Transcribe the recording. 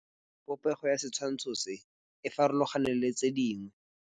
Popêgo ya setshwantshô se, e farologane le tse dingwe.